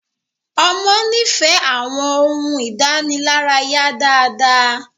ọmọ ní ìfẹ àwọn ohùn idanilaraya dá dá